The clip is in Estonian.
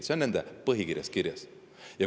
See on nende põhikirjas kirjas.